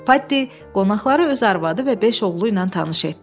Paddi qonaqları öz arvadı və beş oğlu ilə tanış etdi.